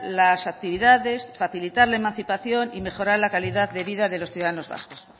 las actividades facilitar la emancipación y mejorar la calidad de vida de los ciudadanos vascos